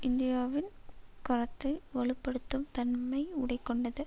இந்தியாவின் கரத்தை வலு படுத்தும் தன்மை உடை கொண்டது